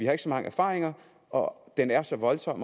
har så mange erfaringer og den er så voldsom